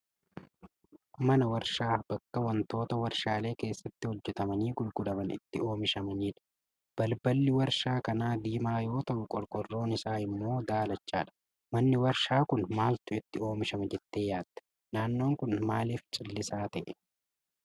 Mana waarshaa bakka wantoota warshaalee keessatti hojjatamanii gurguraman itti oomishamanidha. Balballi waarshaa kanaa diimaa yoo ta'u qorqoorroon isaa immoo daalachadha. Manni waarshaa kun maaltu itti oomishama jettee yaaddaa? Naannoon kun maalif callisaa ta'ee?